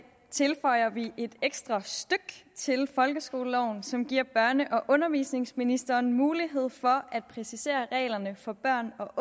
tilføjer vi et ekstra stykke til folkeskoleloven som giver børne og undervisningsministeren mulighed for at præcisere reglerne for børn og